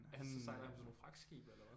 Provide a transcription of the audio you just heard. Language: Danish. Altså sejler han sådan nogle fragtskibe eller hvad?